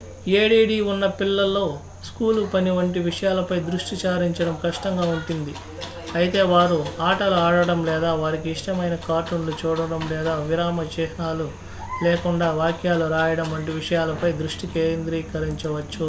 add ఉన్న పిల్లలు school పని వంటి విషయాలపై దృష్టి సారించడం కష్టంగా ఉంటుంది అయితే వారు ఆటలు ఆడటం లేదా వారికి ఇష్టమైన కార్టూన్ లు చూడటం లేదా విరామ చిహ్నాలు లేకుండా వాక్యాలు రాయడం వంటి విషయాలపై దృష్టి కేంద్రీకరించవచ్చు